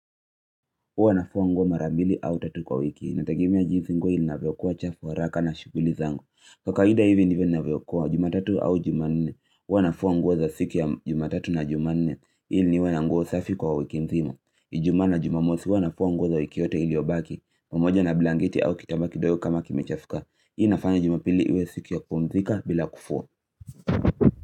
Huwa ninafua nguo marambili au tatu kwa wiki inategemea jinsi nguo inavyokuwa chafu kwa haraka na shuguli zangu kwa kawaida hivi ndivyo ninavyokuwa jumatatu au jumanne huwa ninafua nguo za siku ya jumatatu na jumanne ili niwe na nguo safi kwa wiki nzima ijumaa na jumamosi huwa ninafua nguo za wiki yote iliyobaki pamoja na blanketi au kitambaa kidogo kama kimechafuka hii inafanya jumapili iwe siku ya kupumzika bila kufua.